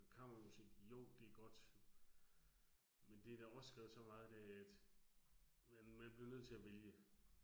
Kammermusik, jo det godt. Men det der også skrevet så meget af, at man man bliver nødt til at vælge